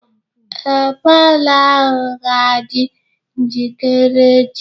Ee, palọ ahụ ga-adị njikere echi.